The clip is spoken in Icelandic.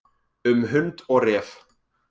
Um hund og ref.